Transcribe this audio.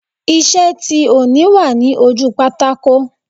Iṣẹ́ tí òní wà ní ojú pátákò